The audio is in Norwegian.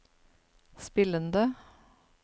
spillende